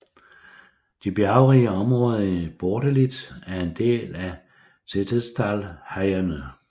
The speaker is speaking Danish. De bjergrige områder i Bortelid er en del af Setesdalsheiene